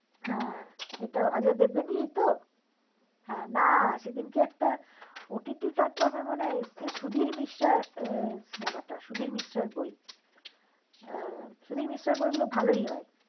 হ্যা এটাও অজয় দেবগণেরইতো হা না সেদিন একটা OTT platforma এ এসেছে সুধীর মিশ্রার বই সুধীর মিশ্রার বই গুলো ভালোই হয়